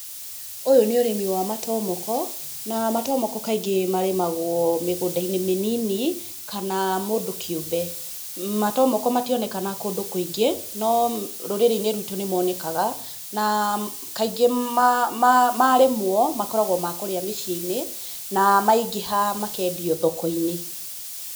Ũyũ nĩ ũrĩmi wa matomoko na matomoko kaingĩ marĩmagwo mĩgũnda-inĩ mĩnini kana mũndũ kĩũmbe. Matomoko mationekaga kũndũ kũingĩ no rũrĩ-inĩ rwitũ nĩ monekaga na kaingĩ marĩmwo makoragwo makũrĩa mĩciĩ -inĩ na maingĩha makendio thoko -inĩ.